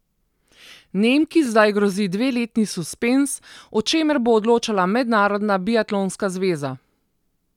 Nemki zdaj grozi dveletni suspenz, o čemer bo odločala Mednarodna biatlonska zveza.